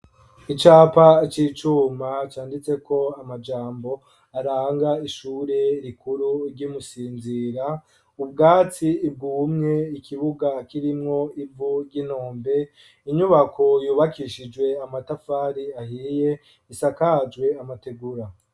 Icapa c'icuma canditse ko amajambo aranga ishuri rikuru ry'imusinzira ,ubwatsi bwumye ,ikibuga kirimwo ivu ry'intombe ,inyubako yubakishijwe amatafari ahiye ,isakajwe amategura.